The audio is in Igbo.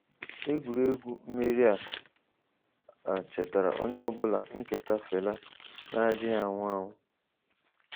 Egwuregwu mmeri a a chetaara onye ọ bụla ihe nketa Fela na-adịghị anwụ anwụ.